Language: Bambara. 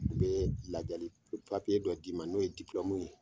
N bɛ ladiyali papiye dɔ d'i ma n'o ye ye !